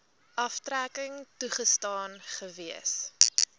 aftrekking toegestaan gewees